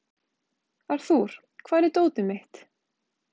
Arthur, hvar er dótið mitt?